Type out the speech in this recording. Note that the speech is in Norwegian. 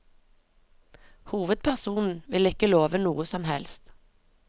Hovedpersonen vil ikke love noe som helst.